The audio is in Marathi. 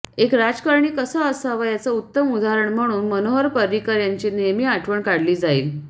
एक राजकारणी कसा असावा याचं उत्तम उदाहरण म्हणून मनोहर पर्रिकर यांची नेहमी आठवण काढली जाईल